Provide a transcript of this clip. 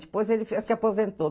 Depois ele se aposentou.